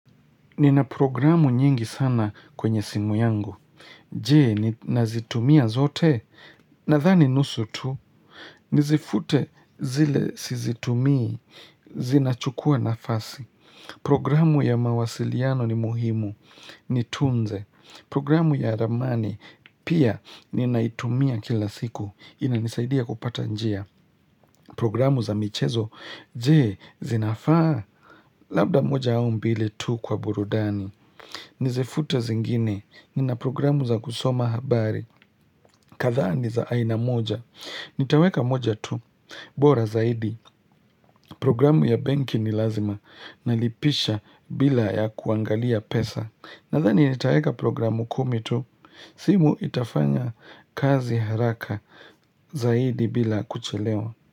Nina programu nyingi sana kwenye simu yangu. Je, nazitumia zote. Nadhani nusu tu. Nizifute zile sizitumii, zinachukua nafasi. Programu ya mawasiliano ni muhimu. Nitunze. Programu ya ramani. Pia, ninaitumia kila siku. Inanisaidia kupata njia. Programu za michezo. Je, zinafaa. Labda moja au mbili tu kwa burudani. Nizifute zingine, nina programu za kusoma habari, kathaa ni za aina moja, nitaweka moja tu, bora zaidi, programu ya banki ni lazima, nalipisha bila ya kuangalia pesa, nadhani nitaweka programu kumi tu, simu itafanya kazi haraka zaidi bila kuchelewa.